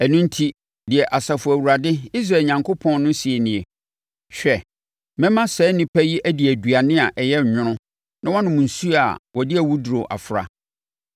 Ɛno enti, deɛ Asafo Awurade, Israel Onyankopɔn no seɛ nie: “Hwɛ, mɛma saa nnipa yi adi aduane a ɛyɛ nwono na wɔanom nsuo a wɔde awuduro afra.